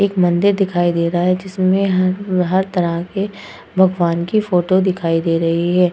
एक मंदिर दिखाई दे रहा है जिसमें हर हर तरह के भगवान की फोटो दिखाई दे रही है।